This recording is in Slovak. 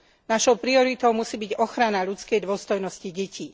Našou prioritou musí byť ochrana ľudskej dôstojnosti detí.